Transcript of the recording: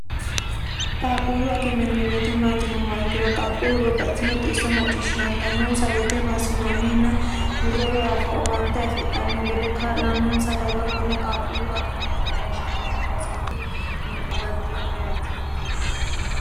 qaaqquullu akime yinanni woyite maatinomma ikkino qaaqquullu babbaxitino xiisso macciishshisaantannonsa woyite maassinanninna hurre woy afoo owaante afixanno gede kaa'lannonsa darga konne qaaqquullu akime yine woshshinanni baseeti yine huwanteemmo yaate